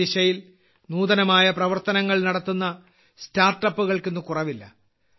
ഈ ദിശയിൽ നൂതനമായ പ്രവർത്തനങ്ങൾ നടത്തുന്ന സ്റ്റാർട്ടപ്പുകൾക്ക് ഇന്ന് കുറവില്ല